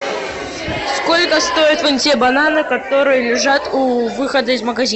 сколько стоят вон те бананы которые лежат у выхода из магазина